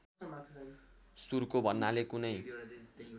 सुर्को भन्नाले कुनै